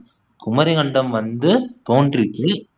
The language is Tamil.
குமரிக்கண்டம் வந்து தோன்றுச்சு